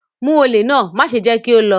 Mu ole náà, maṣe jẹ ki o lọ!